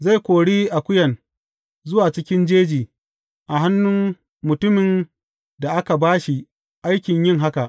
Zai kori akuyan zuwa cikin jeji a hannun mutumin da aka ba shi aikin yin haka.